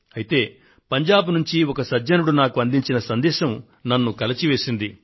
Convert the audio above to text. అయితే పంజాబ్ నుండి ఒక సజ్జనుడు నాకు అందించిన సందేశం నన్ను కలచివేసింది